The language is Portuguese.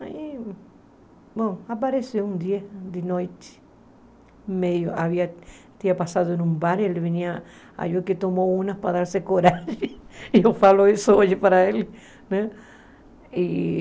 Aí, bom, apareceu um dia de noite, meio, havia, tinha passado num bar, ele vinha, aí o que tomou unas para dar-se coragem, e eu falo isso hoje para ele, né? E